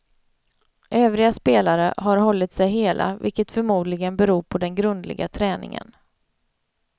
Övriga spelare har hållit sig hela, vilket förmodligen beror på den grundliga träningen.